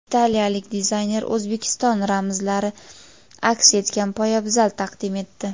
Italiyalik dizayner O‘zbekiston ramzlari aks etgan poyabzal taqdim etdi.